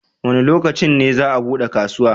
Wa ne lokacin ne za a bude kasuwa?